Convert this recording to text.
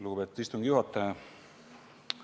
Lugupeetud istungi juhataja!